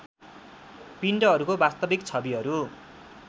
पिण्डहरूको वास्तविक छविहरू